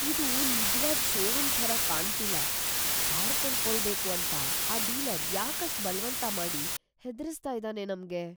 ಇದು ನಿಜ್ವಾದ್ ಷೋರೂಮ್ ಥರ ಕಾಣ್ತಿಲ್ಲ. ಕಾರ್ ಕೊಂಡ್ಕೊಳ್ಳೇಬೇಕು ಅಂತ ‌ಆ ಡೀಲರ್‌ ಯಾಕ್‌ ಅಷ್ಟ್‌ ಬಲ್ವಂತ ಮಾಡಿ ಹೆದ್ರಿಸ್ತಾ ಇದಾನೆ ನಮ್ಗೆ?!